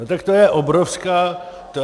No tak to je obrovský úspěch.